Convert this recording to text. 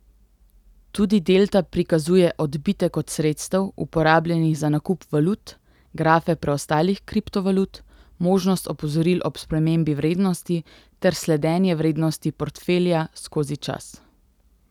Tudi delta prikazuje odbitek od sredstev, uporabljenih za nakup valut, grafe preostalih kriptovalut, možnost opozoril ob spremembi vrednosti ter sledenje vrednosti portfelja skozi čas.